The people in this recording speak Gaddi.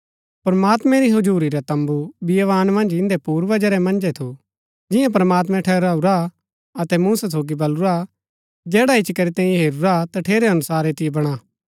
प्रमात्मैं री हजुरी रा तम्बू बियावान मन्ज इन्दै पूर्वजा रै मन्जै थू जिंआं प्रमात्मैं ठहराऊरा अतै मूसा सोगी बलुरा जैडा इच्ची करी तैंई हेरूरा तठेरै अनुसार ऐतिओ बणा